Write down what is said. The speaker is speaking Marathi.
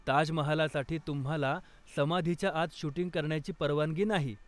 ताजमहालसाठी, तुम्हाला समाधीच्या आत शूटिंग करण्याची परवानगी नाही.